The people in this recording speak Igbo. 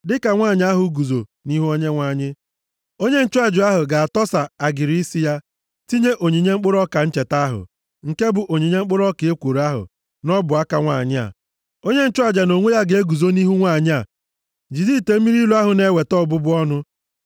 Dịka nwanyị ahụ guzo nʼihu Onyenwe anyị, onye nchụaja ahụ ga-atọsa agịrị isi ya, tinye onyinye mkpụrụ ọka ncheta ahụ, nke bụ onyinye mkpụrụ ọka ekworo ahụ nʼọbụaka nwanyị a. Onye nchụaja nʼonwe ya ga-eguzo nʼihu nwanyị a jide ite mmiri ilu ahụ na-eweta ọbụbụ ọnụ.